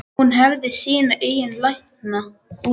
Hún hefði sína eigin lækna úti.